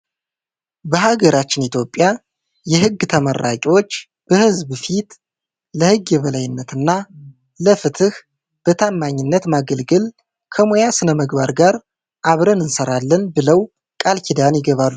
በሃገራችን ኢትዮጵያ የህግ ተመራቂዎች በሕዝብ ፊት "ለሕግ የበላይነትና ለፍትሕ በታማኝነት ማገልገል፣ ከሙያ ሥነ-ምግባር ጋር አብረን እንሠራለን" ብለው ቃል ኪዳን ይገባሉ።